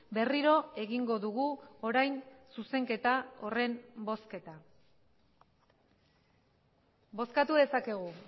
berriro egingo dugu orain zuzenketa horren bozketa bozkatu dezakegu